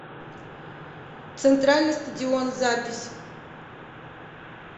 центральный стадион запись